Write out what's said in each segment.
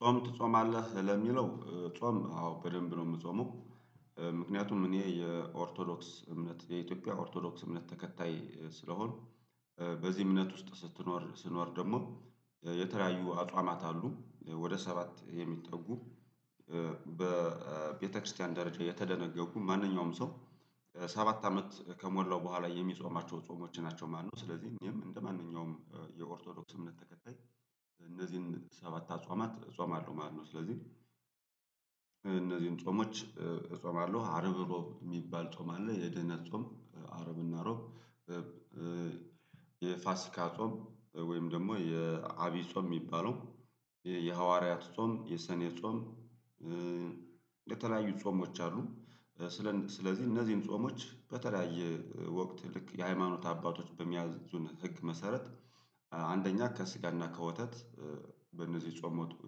ጾም ትጾማለህ ለሚለው ጾም አዎ በደንብ ነው የምጾመው። ምክንያቱም እኔ የኦርቶዶክስ እምነት የኢትዮጵያ ኦርቶዶክስ እምነት ተከታይ ስለሆንኩ። በዚህ እምነት ውስጥ ስትኖር ስትኖር ደግሞ የተለያዩ አጧማት አሉ ወደ ሰባት የሚጠጉ በቤተክርስቲያን ደረጃ የተደነገጉ ማንኛውም ሰው በሰባት አመት ከሞላው በኋላ የሚጾማቸው ጾሞች ናቸው ማለት ነው። ስለዚህ እኔም እንደማንኛውም የኦርቶዶክስ እምነት ተከታይ እነዚህን ሰባት አጿማት እጾማለሁ ማለት ነው። ስለዚህ እነዚህን ጾሞች እጾማለሁ አርብ የሚባል ጾም አለ የደህና ጾም አረብና ሮብ። የፋሲካ ጾም ወይም ደግሞ የአቢ ጾም የሚባለው የሐዋርያት ጾም የሰኔ ጾም። የተለያዩ ጾሞች አሉ ስለን ስለዚህ እነዚህን ጾሞች በተለያየ ወቅት ልክ የሃይማኖት አባቶች በሚያዝኑን ህግ መሰረት። አንደኛ ከስጋና ከወተት በእነዚህ የጾም ወቅት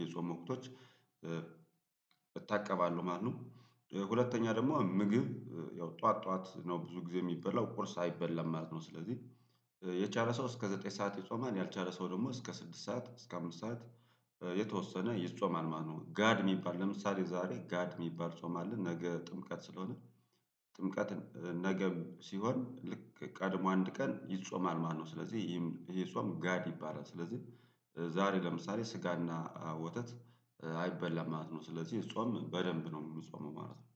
የጾም ወቅቶች እታቀባለሁ ማለት ነው። ሁለተኛ ደግሞ ምግብ ያው ጠዋት ጠዋት ነው ብዙ ጊዜ የሚበላው ቁርስ አይበላም ማለት ነው። ስለዚህ የቻለ ሰው እስከ ዘጠኝ ሰዓት ይጾማል ያልቻለ ሰው ደግሞ እስከ ስድስት ሰዓት እስከ አምስት ሰዓት የተወሰነ ይጾማል ማለትነው። ጋድ የሚባል ለምሳሌ ዛሬ ጋድ የሚባል ጾማልን ነገ ጥምቀት ስለሆነ። ጥምቀትን ነገ ሲሆን ልክ ቀድሞ አንድ ቀን ይጾማል ማለት ነው። ስለዚህ ይሄም ይህ ጾም ጋድ ይባላል ስለዚህ። ዛሬ ለምሳሌ ስጋና ወተት አይበላም ማለት ነው ስለዚህ ጾም በደንብ ነው የምጾመው ማለት ነው